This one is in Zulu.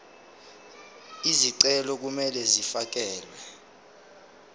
izicelo kumele zifakelwe